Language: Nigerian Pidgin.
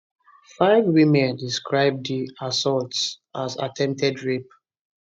five women describe di assaults as attempted rape